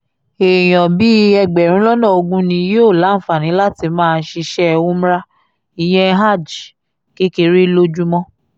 èèyàn bíi ẹgbẹ̀rún lọ́nà ogún ni yóò láǹfààní láti máa ṣiṣẹ́ umra ìyẹn hajj kékeré lójúmọ́